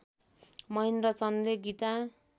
महेन्द्र चन्दले गीता